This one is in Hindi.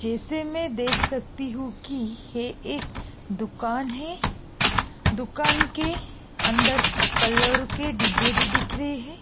जैसे मै देख सकती हूँ की यह एक दुकान है। दुकान के अंदर कलर के डिब्बे दिख रहे है।